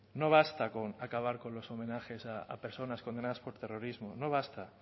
no basta con acabar con los homenajes a personas condenadas por terrorismo no basta